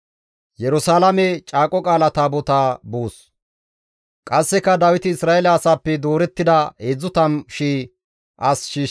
Qasseka Dawiti Isra7eele asaappe doorettida 30,000 as shiishshides.